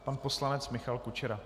Pan poslanec Michal Kučera.